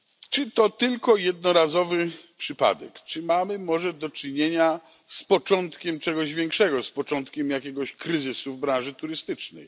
Czy to tylko jednorazowy przypadek czy mamy może do czynienia z początkiem czegoś większego, z początkiem jakiegoś kryzysu w branży turystycznej?